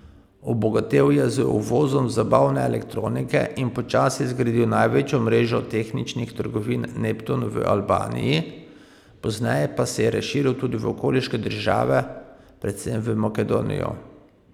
Obogatel je z uvozom zabavne elektronike in počasi zgradil največjo mrežo tehničnih trgovin Neptun v Albaniji, pozneje pa se je razširil tudi v okoliške države, predvsem v Makedonijo.